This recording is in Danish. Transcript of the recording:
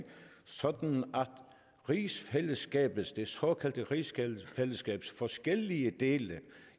sådan at rigsfællesskabets det såkaldte rigsfællesskabs forskellige dele